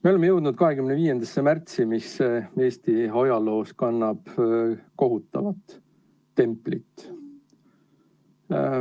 Me oleme jõudnud 25. märtsi, mis Eesti ajaloos kannab kohutavat templit.